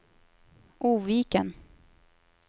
Oviken